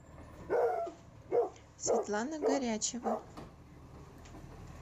светлана горячева